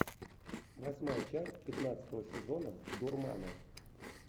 восьмая часть пятнадцатого сезона дурмана